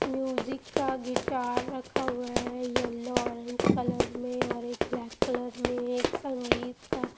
music का guitar रखा हुआ है येलो ऑरेंज कलर में और एक ब्लैक कलर में एक संगीत का --